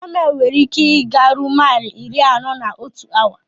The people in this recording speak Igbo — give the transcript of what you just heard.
Kamel nwere ike ị ga ruo maili iri anọ na otu awa.